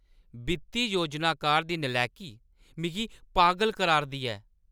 वित्ती योजनाकार दी नलैकी मिगी पागल करा‘रदी ऐ ।